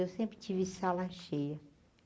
Eu sempre tive sala cheia.